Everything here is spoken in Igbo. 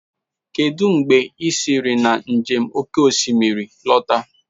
Kedu mgbe i siri na njem oke osimiri lọta